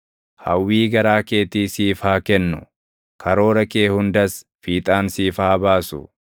Hawwii garaa keetii siif haa kennu; karoora kee hundas fiixaan siif haa baasu.